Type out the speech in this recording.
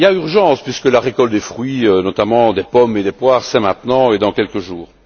Il y a urgence puisque la récolte des fruits, notamment des pommes et des poires, c'est maintenant et dans quelques jours.